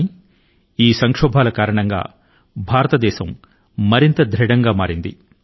కానీ భారతదేశం ఈ సంక్షోభాల కారణం గా మరింత మహిమాన్వితం గా మారింది